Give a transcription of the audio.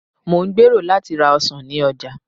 mo n gbero lati ra ọsàn ni oja